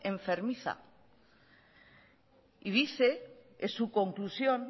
enfermiza y dice es su conclusión